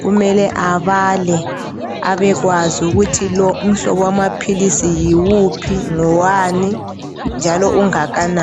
kumele abale, abekwazi ukuthi lo umhlobo wamaphilisi yiwuphi, ngowani, njalo ungakanani.